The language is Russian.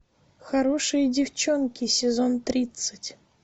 хорошие девчонки сезон тридцать